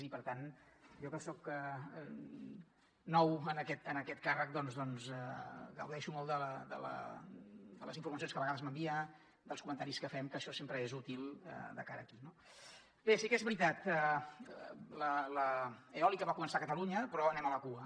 i per tant jo que soc nou en aquest càrrec doncs gaudeixo molt de les informacions que a vegades m’envia dels comentaris que fem que això sempre és útil de cara aquí no bé sí que és veritat l’eòlica va començar a catalunya però anem a la cua